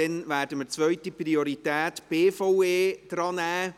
Danach werden wir die zweite Priorität BVE drannehmen.